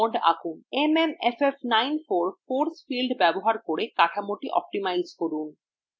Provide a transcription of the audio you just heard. mmff94 force field ব্যবহার করে কাঠামোটি optimize করুন